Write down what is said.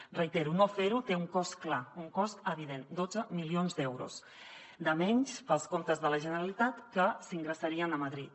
ho reitero no ferho té un cost clar un cost evident dotze milions d’euros de menys per als comptes de la generalitat que s’ingressarien a madrid